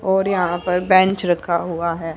और यहां पर बेंच रखा हुआ है।